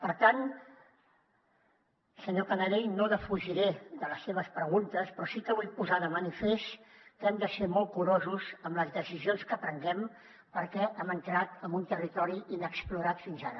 per tant senyor canadell no defugiré les seves preguntes però sí que vull posar de manifest que hem de ser molt curosos amb les decisions que prenguem perquè hem entrat en un territori inexplorat fins ara